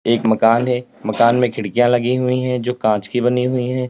एक मकान है मकान में खिड़कियां लगी हुई है जो कांच की बनी हुई है।